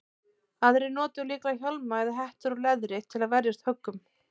Aðrir notuðu líklega hjálma eða hettur úr leðri til að verjast höggum.